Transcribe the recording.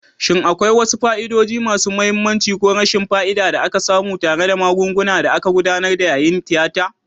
Shin akwai wasu fa'idodi masu mahimmanci ko rashin fa'ida da aka samu tare da magungunan da aka gudanar yayin tiyata?